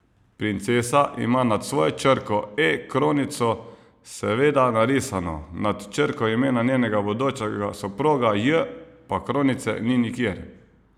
Princesa ima nad svojo črko E kronico seveda narisano, nad črko imena njenega bodočega soproga J pa kronice ni nikjer.